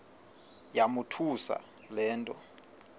yamothusa le nto